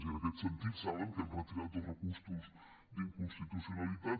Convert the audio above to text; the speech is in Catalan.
i en aquest sentit saben que hem retirat dos recursos d’inconstitucionalitat